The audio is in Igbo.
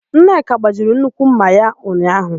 Nneka gbajiri nnukwu ḿmà ha ụnyaahụ.